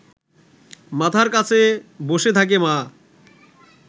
মাথার কাছে বসে থাকে মা